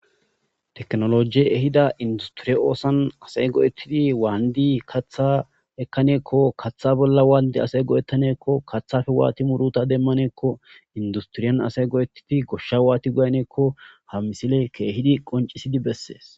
teknolojie ehida industiriye oosan asay go'ettidi waandi katha ekkaneekko kaththa bolla waandi asay go'ettaneekko kaththafe waati muruta demmaneekko industriyan asay go'ettidi goshsha waati goyaneekko ha misile keehidi qoncisidi bessees